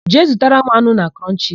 Jee zụtara m anụ na Krọnchisi!